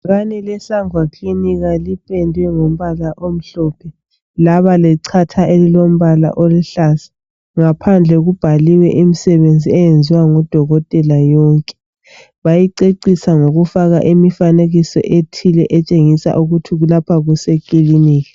Ibhakane le Sangwa kilinika ,liphendwe ngombala omhlophe .Laba lecatha elilombala oluhlaza. Ngaphandle kulabhaliwe imisebenzi eyenziwa ngudokotela yonke .bayicecisa ngokufaka Imifanekiso ethile etshengisa ukuthi lapha kuse kiliniki.